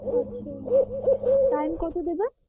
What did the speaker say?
আচ্ছা time কতো দেবে